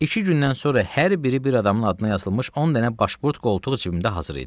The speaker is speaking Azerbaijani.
İki gündən sonra hər biri bir adamın adına yazılmış 10 dənə başpurt qoltuq cibimdə hazır idi.